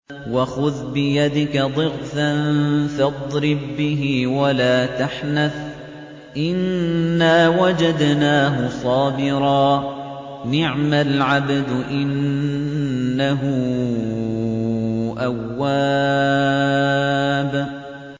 وَخُذْ بِيَدِكَ ضِغْثًا فَاضْرِب بِّهِ وَلَا تَحْنَثْ ۗ إِنَّا وَجَدْنَاهُ صَابِرًا ۚ نِّعْمَ الْعَبْدُ ۖ إِنَّهُ أَوَّابٌ